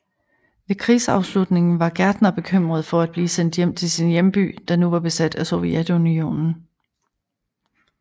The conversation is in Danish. Ved krigsafslutningen var Gärtner bekymret for at blive sendt hjem til sin hjemby der nu var besat af Sovjetunionen